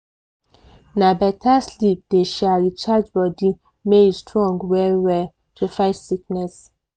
na beta sleep dey um recharge body make e strong well well to fight sickness.